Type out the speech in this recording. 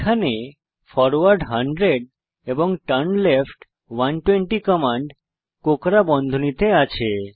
এখানে ফরওয়ার্ড 100 এবং turn left 120 command কোঁকড়া বন্ধনীতে আছে